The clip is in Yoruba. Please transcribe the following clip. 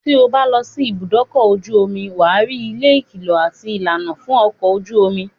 tí o bá lọ sí ìbùdókọ̀ ojú omi, wà á rí ilé ìkìlọ̀ àti ìlànà fún ọkọ̀ ojú omi.